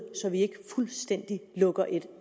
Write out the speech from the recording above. at vi ikke fuldstændig lukker et